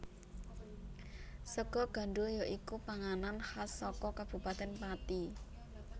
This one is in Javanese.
Sega gandhul ya iku panganan khas saka Kabupatèn Pati